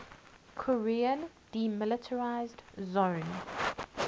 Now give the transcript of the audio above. korean demilitarized zone